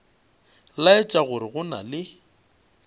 laetša gore go na le